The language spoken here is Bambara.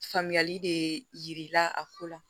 Faamuyali de yir'i la a ko la